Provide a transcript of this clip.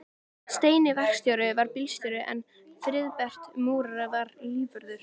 Steini verkstjóri var bílstjóri en Friðbert múrari var lífvörður.